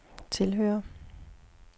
tilhører